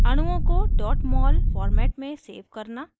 अणुओं को mol format में सेव करना